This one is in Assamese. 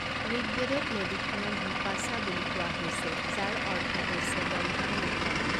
ঋকবেদত নদীখনক বিপাশা বুলি কোৱা হৈছে, যাৰ অৰ্থ হৈছে বন্ধনমুক্ত।